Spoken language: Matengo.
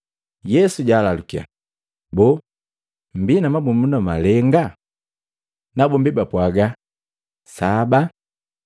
Yesu jaalalukya, “Boo mmbii na mabumunda malenga?” Nabombi bapwaaga, “Saba.”